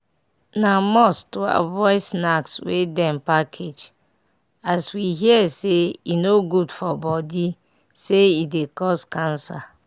na must to avoid snacks wey dem package as we here say e no good for body say e dey cause cancer.